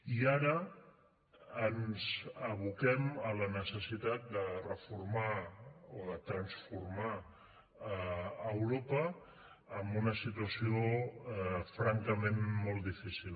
i ara ens aboquem a la necessitat de reformar o de transformar europa amb una situació francament molt difícil